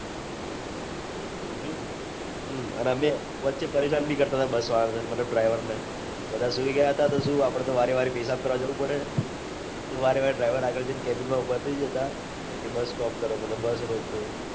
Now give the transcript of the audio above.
હમ અને અમે વચે પરેશાન ભી કરતા હતા બસ વાળા ને મતલબ driver ને બધા સુઈ ગયા હતા તો શું આપડે તો વારે વારે પેસાબ કરવા જવું પડે તો વારે વારે driver આગળ જઈન cabine મા ઉભા થઇ જતા bus stop કરો bus રોકો